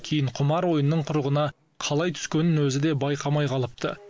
кейін құмар ойынның құрығына қалай түскенін өзі де байқамай қалыпты